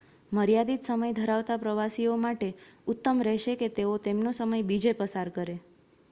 મર્યાદિત સમય ધરાવતા પ્રવાસીઓ માટે ઉત્તમ રહેશે કે તેઓ તેમનો સમય બીજે પસાર કરે